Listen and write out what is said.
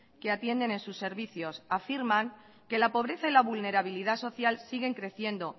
que atienden en sus servicios afirman que la pobreza y la vulnerabilidad social siguen creciendo